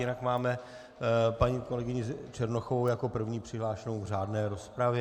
Jinak máme paní kolegyni Černochovou jako první přihlášenou v řádné rozpravě.